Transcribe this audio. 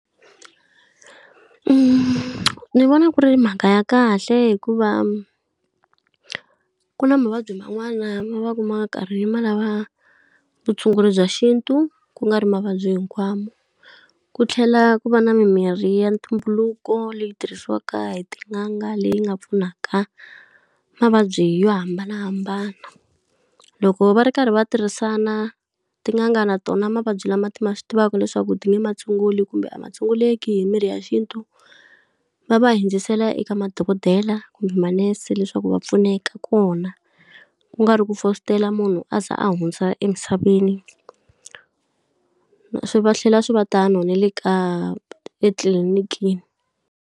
ni vona ku ri mhaka ya kahle hikuva ku na mavabyi man'wana va ku va ma karhi ma lava vutshunguri bya xintu ku nga ri mavabyi hinkwawo, ku tlhela ku va na mimirhi ya ntumbuluko leyi tirhisiwaka hi tin'anga leyi nga pfunaka mavabyi yo hambanahambana. Loko va ri karhi va tirhisana tin'anga na tona mavabyi lama ti ma swi tivaka leswaku ti nge matshunguli kumbe a ma tshunguleki hi mirhi ya xintu, va va hundzisela eka madokodela kumbe manese leswaku va pfuneka kona. Ku nga ri ku fositela munhu a za a hundza emisaveni, swi va tlhela swi va tano na le ka etitlilinikini.